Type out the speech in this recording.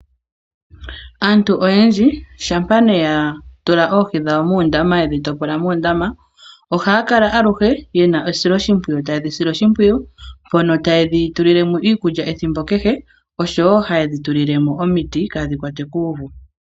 Aantu oyendji shampa yatula oohi dhawo muundama yedhi topola moondama ohaya kala aluhe yena esoloshimpwiyu, tayedhi sile oshimpwiyu mpono tayedhi tulilemo iikulya ethimbo kehe oshowo hayedhi tulilemo omiti kadhi kwatwe kuuvu